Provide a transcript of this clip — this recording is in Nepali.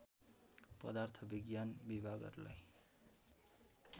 पदार्थ विज्ञान विभागहरूलाई